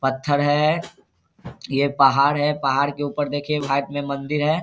पत्थर है ये पहाड़ है पहाड़ के ऊपर देखिये घाट में मंदिर है।